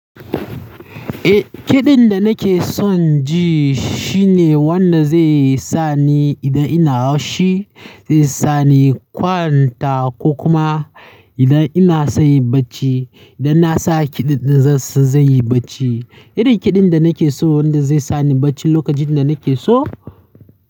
Eh, kiɗin da nake son ji shi ne wanda zai sa ni idan ina haushi, zai sa ni kwanta ko kuma idan ina son yin bacci, idan na sa kiɗin zai yi bacci. Irin kiɗin da nake so wanda zai sa ni bacci lokacin da nake so.